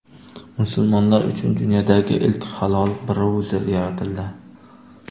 Musulmonlar uchun dunyodagi ilk halol brauzer yaratildi.